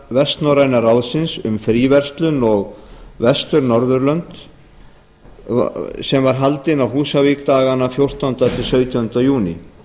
vestnorræna ráðsins um fríverslun og vestur norðurlönd var haldin á húsavík dagana fjórtánda til sautjánda júní